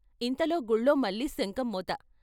ఇంతలో గుళ్ళో మళ్ళీ శంఖం మోత.